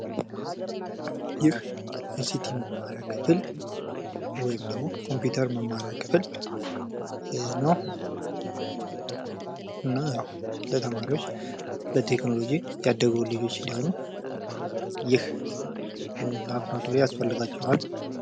ይህ አይሲቲ መማሪያ ክፍል ወይም ደግሞ ኮምፑተር መማሪያ ክፍል ነው። እና ለተማሪዎች በቴክህኖሎጅ ያደጉ ልጆች እንዲሆኑ ይህ ላቦራቶሪ ያስፈልጋቸዋል።